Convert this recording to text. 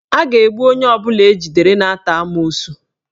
A ga-egbu onye ọbụla ejidere na-ata amoosu